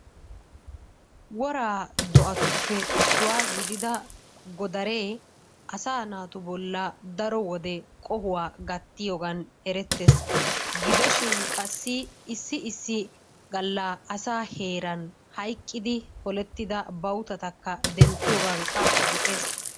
Woraa do'atupppe isuwaa gidida godaree asaa naatu bolla daro wode qohuwa gattiyogaan erettees, gidoshshin qassi issi issi galla asaa heeran hayqqidi olettida bawutatakka denttiyogankka go'ees.